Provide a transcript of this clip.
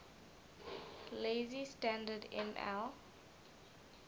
lazy standard ml